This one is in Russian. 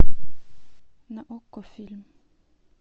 на окко фильм